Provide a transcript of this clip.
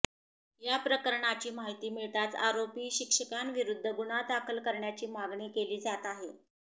या प्रकरणाची माहिती मिळताच आरोपी शिक्षकांविरुद्ध गुन्हा दाखल करण्याची मागणी केली जात आहे